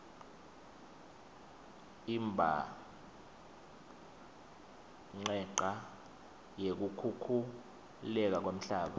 imbhanqeca yekukhukhuleka kwemhlaba